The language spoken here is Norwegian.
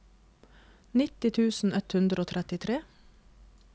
nitti tusen ett hundre og trettitre